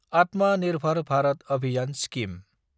एटिएमए निर्भर भारत अभियान स्किम